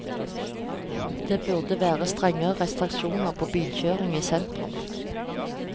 Det burde vært strengere restriksjoner på bilkjøring i sentrum.